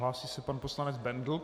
Hlásí se pan poslanec Bendl.